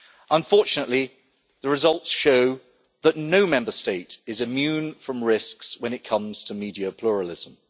Unfortunately, the results show that no Member State is immune from risks when it comes to media pluralism.